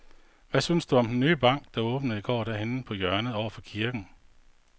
Hvad synes du om den nye bank, der åbnede i går dernede på hjørnet over for kirken?